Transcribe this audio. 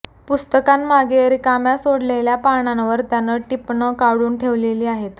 पुस्तकांमागे रिकाम्या सोडलेल्या पानांवर त्यानं टिपणं काढून ठेवली आहेत